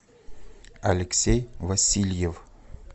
алексей васильев